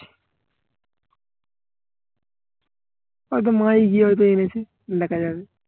হয়তো মাএই গিয়ে হয়তো এনেছে দেখা যাবে